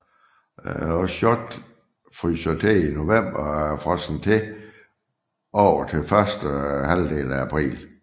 Osjotr fryser til i november og er frosset over til første halvdel af april